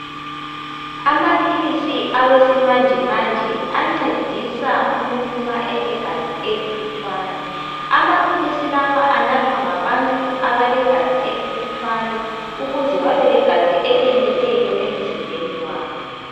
Amaphilisi awesimanjemanje ,ancedisa umuntu ma elegazi elilutshwane. Amaphilisi lawa anathwa ngabantu abalegazi elilutshwane ukuze babe legazi eliyeneleyo emzimbeni wabo.